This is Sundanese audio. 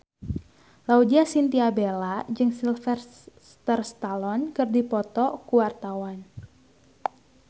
Laudya Chintya Bella jeung Sylvester Stallone keur dipoto ku wartawan